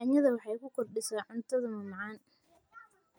Yanyada waxay kukordisa cuntadha mamacan.